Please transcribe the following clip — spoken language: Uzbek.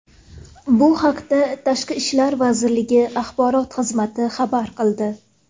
Bu haqda Tashqi ishlar vazirligi axborot xizmati xabar qildi .